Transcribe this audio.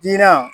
Diina